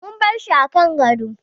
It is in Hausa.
Mun barshi kan gado